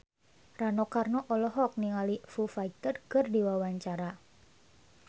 Rano Karno olohok ningali Foo Fighter keur diwawancara